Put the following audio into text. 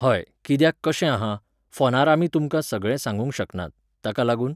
हय , कित्याक कशें आहा, फोनार आमी तुमकां सगळें सांगूंक शकनात, ताका लागून